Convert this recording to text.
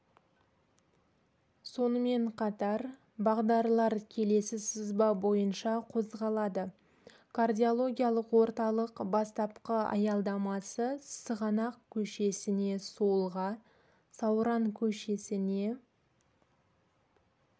сонымен қатар бағдарлар келесі сызба бойынша қозғалады кардиологиялық орталық бастапқы аялдамасы сығанақ көшесіне солға сауран көшесіне